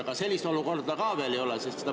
Aga sellist olukorda ka veel ei ole.